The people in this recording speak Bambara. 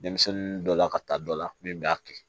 Denmisɛnnin dɔ la ka taa dɔ la min b'a kɛ